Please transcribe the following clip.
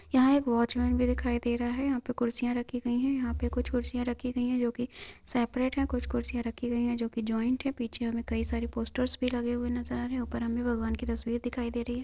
यहाँ एक वोचमैन भी दिखाई दे रहा है यहाँ पे कुर्सियाँ रखी गई है यहाँ पे कुछ कुर्सियाँ रखी गई है जोकि सेपरेट है कुछ कुर्सियाँ रखी गई है जोकि जॉइन्ट है पीछे हमें कई सारी पोस्टर्स भी लगे हुए नज़र आ रहे है ऊपर हमें भगवान के तस्वीर दिखाई दे रही है।